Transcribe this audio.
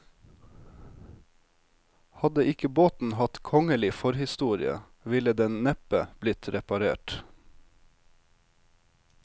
Hadde ikke båten hatt kongelig forhistorie, ville den neppe blitt reparert.